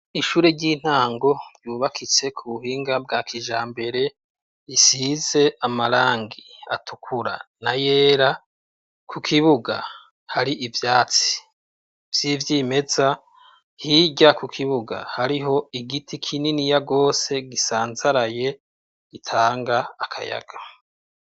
Ishure ry'intango ryubakitse ku buhinga bwakijambere, isize amarangi atukura na yera. Ku kibuga hari ivyatsi vy'ivyimeza, hirya ku kibuga hariho igiti kininiya gose gisanzaraye gitanga akayaga.